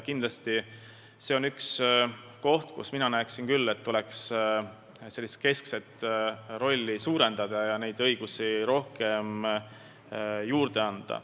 Kindlasti on see üks koht, kus minu arvates tuleks keskset rolli suurendada ja õigusi rohkem juurde anda.